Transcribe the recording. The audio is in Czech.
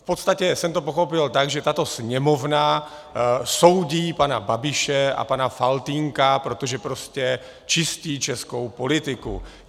V podstatě jsem to pochopil tak, že tato Sněmovna soudí pana Babiše a pana Faltýnka, protože prostě čistí českou politiku.